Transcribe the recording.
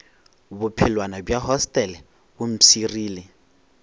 bophelwana bja hostele bo mpshirile